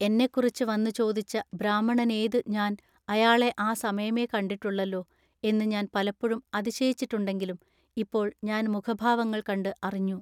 എന്നെക്കുറിച്ച് വന്നു ചോദിച്ച ബ്രാഹ്മണനേതു ഞാൻ അയാളെ ആ സമയമെ കണ്ടിട്ടുള്ളല്ലൊ എന്നു ഞാൻ പലപ്പൊഴും അതിശയിച്ചിട്ടുണ്ടെങ്കിലും ഇപ്പോൾ ഞാൻ മുഖഭാവങ്ങൾ കണ്ട് അറിഞ്ഞു.